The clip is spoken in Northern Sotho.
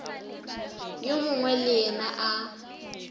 yo mongwe le yena a